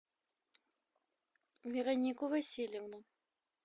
веронику васильевну